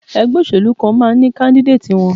Ẹgbẹ́ òṣèlú kan máa ní káńdídéètì wọn.